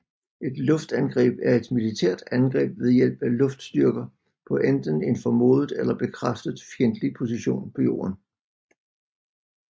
Et luftangreb er et militært angreb ved hjælp af flystyrker på enten en formodet eller bekræftet fjendtlig position på jorden